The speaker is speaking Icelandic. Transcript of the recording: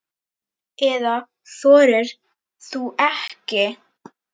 Eða þorir þú ekki?